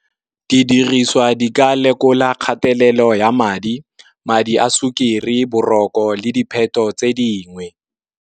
Didiriswa di ka lekola kgatelelo ya madi, madi a sukiri boroko le dipheto tse dingwe.